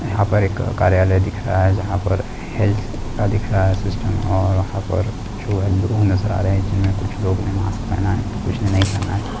यहां पर एक कार्यालय दिख रहा है जहां पर हेल्थ का दिख रहा है सिस्टम और यहां पर जो है लोग नजर आ रहे है जिनमें कुछ लोग ने मास्क पहना हैं तो कुछ ने नहीं पहना है।